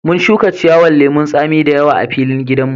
Mun shuka ciyawan lemun tsami da yawa a filin gidan mu.